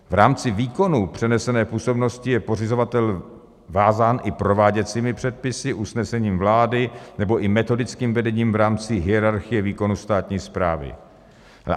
V rámci výkonu přenesené působnosti je pořizovatel vázán i prováděcími předpisy, usnesením vlády nebo i metodickým vedením v rámci hierarchie výkonu státní správy.